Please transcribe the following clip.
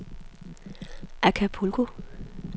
Acapulco